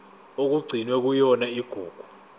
okugcinwe kuyona igugu